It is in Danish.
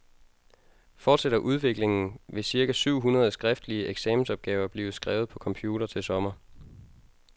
Fortsætter udviklingen, vil cirka syv hundrede skriftlige eksamensopgaver blive skrevet på computer til sommer.